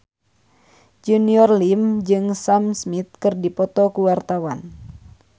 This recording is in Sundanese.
Junior Liem jeung Sam Smith keur dipoto ku wartawan